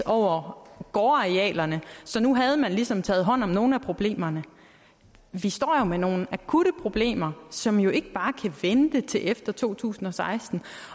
over gårdarealerne så nu havde man ligesom taget hånd om nogle af problemerne vi står jo med nogle akutte problemer som ikke bare kan vente til efter to tusind og seksten